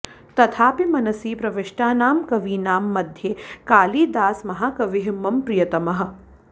तथापि मनसि प्रविष्टानां कवीनां मध्ये कालिदासमहाकविः मम प्रियतमः